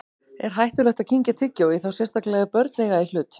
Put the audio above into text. Er hættulegt að kyngja tyggjói, þá sérstaklega ef börn eiga í hlut?